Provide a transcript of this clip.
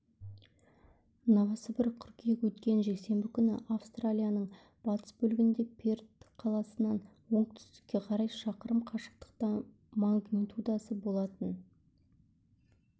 новосібір қыркүйек өткен жексенбі күні австралияның батыс бөлігінде перт қаласынан оңтүстікке қарай шақырым қашықтықта магнитудасы болатын